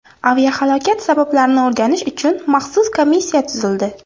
Aviahalokat sabablarini o‘rganish uchun maxsus komissiya tuzildi.